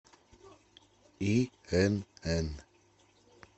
инн